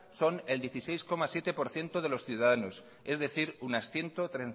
son el dieciséis coma siete por ciento de los ciudadanos es decir unas ciento